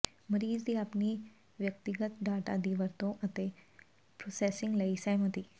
ਮਰੀਜ਼ ਦੀ ਆਪਣੀ ਵਿਅਕਤੀਗਤ ਡਾਟਾ ਦੀ ਵਰਤੋਂ ਅਤੇ ਪ੍ਰੋਸੈਸਿੰਗ ਲਈ ਸਹਿਮਤੀ